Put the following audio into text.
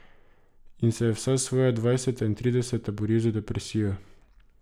In se je vsa svoja dvajseta in trideseta boril z depresijo.